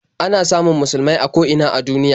Ana samun musulmai a ko ina a duniya.